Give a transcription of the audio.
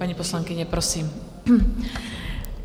Paní poslankyně, prosím.